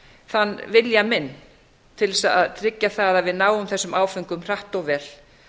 þann vilja minn til að tryggja það að við náum þessum áföngum hratt og vel